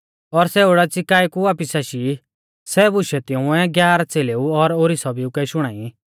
और सै ओडाच़ी काऐ कु वापिस आशी सै बुशै तिंउऐ ग्यारह च़ेलेऊ और ओरी सभीउकै शुणाई